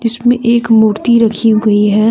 इसमें एक मूर्ति रखी हुई है।